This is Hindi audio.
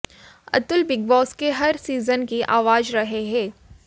अतुल बिग बॉस के हर सीजन की आवाज रहे हैं